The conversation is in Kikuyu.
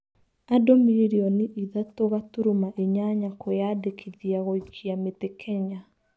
Andũmirioni ithatũgaturuma inyanya kwiyandĩkithia gũikia mĩtĩ Kenya.